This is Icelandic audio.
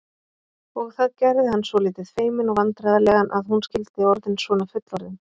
Og það gerði hann svolítið feiminn og vandræðalegan að hún skyldi orðin svona fullorðin.